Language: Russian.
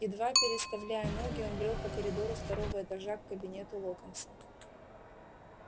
едва переставляя ноги он брёл по коридору второго этажа к кабинету локонса